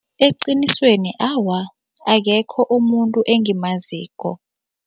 Eqinisweni awa, akekho umuntu engimaziko.